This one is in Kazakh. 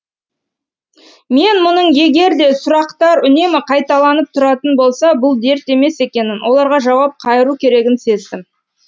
мен мұның егер де сұрақтар үнемі қайталанып тұратын болса бұл дерт емес екенін оларға жауап қайыру керегін сездім